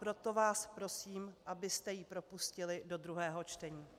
Proto vás prosím, abyste ji propustili do druhého čtení.